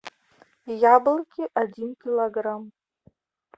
яблоки один килограмм